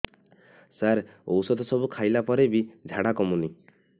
ସାର ଔଷଧ ସବୁ ଖାଇଲା ପରେ ବି ଝାଡା କମୁନି